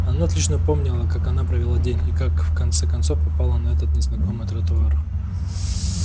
она отлично помнила как она провела день и как в конце концов попала на этот незнакомый тротуар